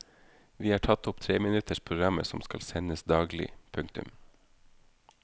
Vi har tatt opp treminutters programmer som skal sendes daglig. punktum